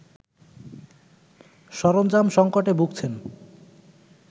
সরঞ্জাম সঙ্কটে ভুগছেন